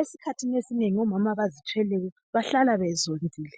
Esikhathini esinengi omama abazithweleyo bahlala bezondile.